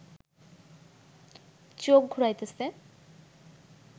চোখ ঘুরাইতেছে